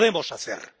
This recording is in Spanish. ¡Y podemos hacer!,